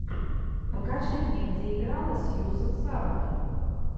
покажи мне где играла сьюзен сарандон